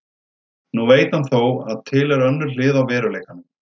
Nú veit hann þó að til er önnur hlið á veruleikanum.